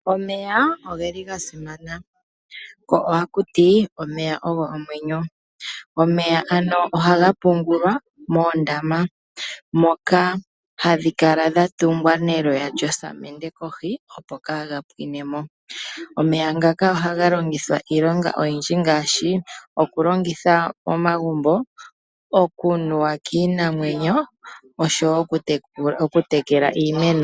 Omeya oga simana, ko ohaku ti omeya ogo omwenyo. Omeya ohaga ga pungulwa moondama, ndhoka hadhi kala dha tungwa neloya lyosamende kohi, opo kaaga pwine mo. Omeya ngaka ohaga longithwa iilonga oyindji ngaashi: okulongithwa momagumbo, okunuwa kiinawenyo noshowo okutekela iimeno.